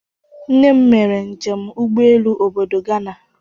Nne m mere njem ụgbọelu obodo Gana.